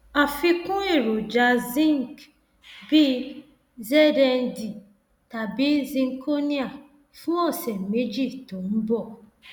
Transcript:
yẹra fún àwọn ohun mímu tó tutù ìrì dídì àti àwọn dídì àti àwọn ibi tí kò tutù